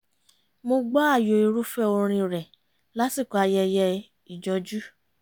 mo gbọ́ ààyò irúfẹ́ orin rẹ̀ lásìkò ayẹyẹ ìjọjú